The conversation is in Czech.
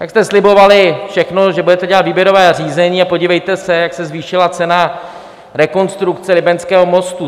Tak jste slibovali všechno, že budete dělat výběrová řízení a podívejte se, jak se zvýšila cena rekonstrukce Libeňského mostu.